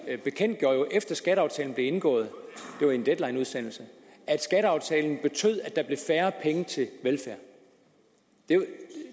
bekendtgjorde jo efter skatteaftalen blev indgået det var i en deadlineudsendelse at skatteaftalen betød at der blev færre penge til velfærd